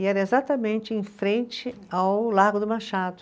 E era exatamente em frente ao Largo do Machado.